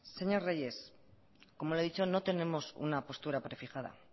señor reyes como le he dicho no tenemos una postura prefijada